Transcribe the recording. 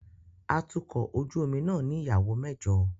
Atukọ̀ ojú omi náà ní ìyàwó mẹ́jọ